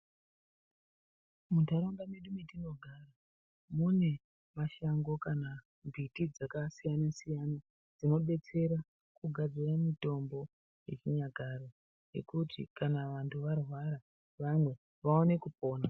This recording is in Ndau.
Muntaraunda mwatinogara mune mashango kana miti dzakasiyana siyana dzinobetsera kugadzire mutombo yechinyakare yekuti kana vantu varwara vamwe vaone kupona.